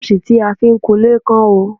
Brọ́ṣì ta fi ń kunlé kán o.